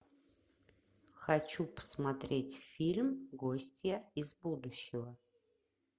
хочу посмотреть фильм гостья из будущего